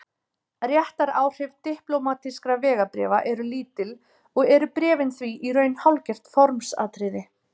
réttaráhrif diplómatískra vegabréfa eru lítil og eru bréfin því í raun hálfgert formsatriði